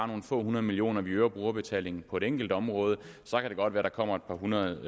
nogle få hundrede millioner kroner vi øger brugerbetalingen på et enkelt område så kan det godt være at der kommer et par hundrede